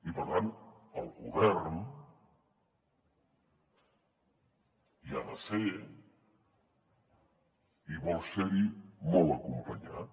i per tant el govern hi ha de ser i vol ser hi molt acompanyat